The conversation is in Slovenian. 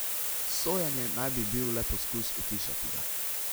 Sojenje naj bi bil le poskus utišati ga.